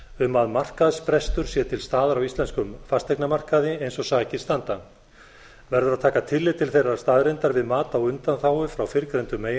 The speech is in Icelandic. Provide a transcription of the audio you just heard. um að markaðsbrestur sé til staðar á íslenskum fasteignamarkaði eins og sakir standa verður að taka tillit til þeirrar staðreyndar við mat á undanþágu frá fyrrgreindum